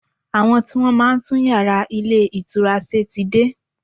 Àwọn tí Wọ́n máa ń tún yàrá ilé ìtura ṣe ti dé.